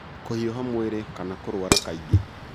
Kũhiũha mwĩrĩ kana kũrũara kaingĩ.